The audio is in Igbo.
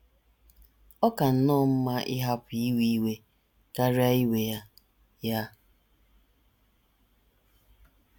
Ọ ka nnọọ mma ịhapụ iwe iwe karịa iwe ya. ” ya. ”